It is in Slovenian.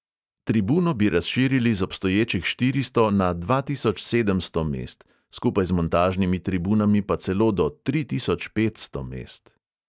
Tribuno bi razširili z obstoječih štiristo na dva tisoč sedemsto mest, skupaj z montažnimi tribunami pa celo do tri tisoč petsto mest.